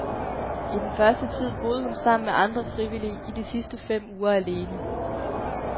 I den første tid boede hun sammen med andre frivillige, i de sidste fem uger alene.